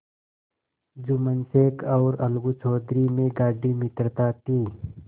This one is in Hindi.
जुम्मन शेख और अलगू चौधरी में गाढ़ी मित्रता थी